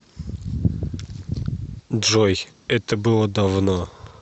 джой это было давно